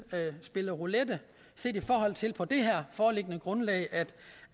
spille roulette set i forhold til på det her foreliggende grundlag